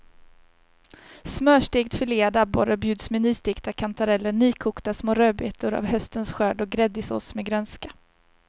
Smörstekt filead abborre bjuds med nystekta kantareller, nykokta små rödbetor av höstens skörd och gräddig sås med grönska.